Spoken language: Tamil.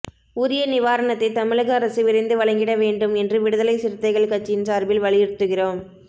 உரிய நிவாரணத்தைத் தமிழக அரசு விரைந்து வழங்கிடவேண்டும் என்று விடுதலை சிறுத்தைகள் கட்சியின் சார்பில் வலியுறுத்துகிறோம்